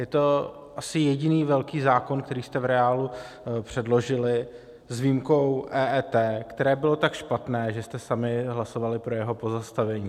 Je to asi jediný velký zákon, který jste v reálu předložili, s výjimkou EET, které bylo tak špatné, že jste sami hlasovali pro jeho pozastavení.